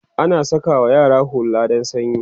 ana sakawa yara hulla dan sanyi